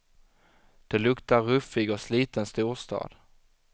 Det luktar ruffig och sliten storstad.